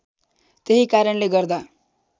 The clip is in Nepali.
त्यही कारणले गर्दा